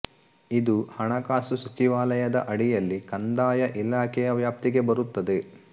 ಇದು ಹಣಕಾಸು ಸಚಿವಾಲಯದ ಅಡಿಯಲ್ಲಿ ಕಂದಾಯ ಇಲಾಖೆಯ ವ್ಯಾಪ್ತಿಗೆ ಬರುತ್ತದೆ